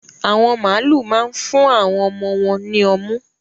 Àwọn màlúù ma ń fún àwon ọmọ wòn ní ọmú